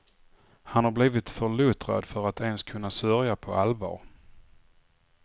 Han har blivit för luttrad för att ens kunna sörja på allvar.